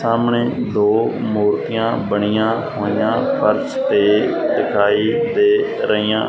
ਸਾਹਮਣੇ ਦੋ ਮੂਰਤੀਆਂ ਬਣੀਆਂ ਹੋਈਆਂ ਫਰਸ਼ ਤੇ ਦਿਖਾਈ ਦੇ ਰਹੀਆਂ--